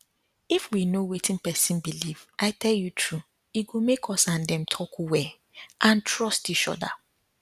if we know wetin person believe i tell you true e go make us and dem talk well and trust each other